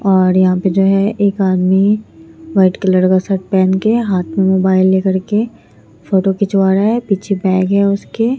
और यहां पे जो है एक आदमी व्हाइट कलर का शर्ट पहन के हाथ में मोबाइल लेकर के फोटो खिंचवा रहा है पीछे बैग है उसके।